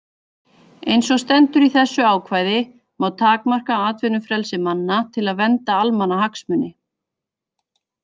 Eins og stendur í þessu ákvæði má takmarka atvinnufrelsi manna til að vernda almannahagsmuni.